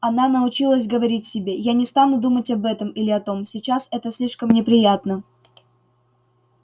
она научилась говорить себе я не стану думать об этом или о том сейчас это слишком неприятно